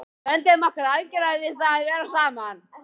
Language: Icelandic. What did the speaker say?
Við vönduðum okkur algjörlega við það að vera saman.